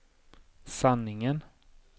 sanningen